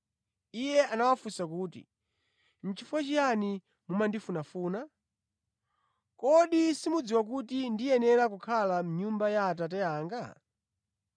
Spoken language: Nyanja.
Iye anawafunsa kuti, “Nʼchifukwa chiyani mumandifunafuna? Kodi simukudziwa kuti ndikuyenera kukhala mʼnyumba ya Atate anga?”